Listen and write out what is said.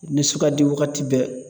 Nisugadi wagati bɛɛ